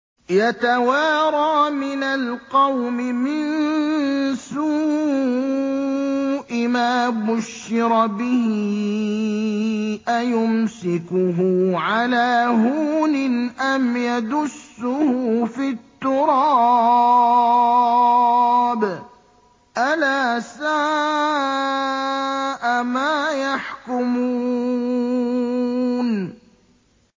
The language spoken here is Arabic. يَتَوَارَىٰ مِنَ الْقَوْمِ مِن سُوءِ مَا بُشِّرَ بِهِ ۚ أَيُمْسِكُهُ عَلَىٰ هُونٍ أَمْ يَدُسُّهُ فِي التُّرَابِ ۗ أَلَا سَاءَ مَا يَحْكُمُونَ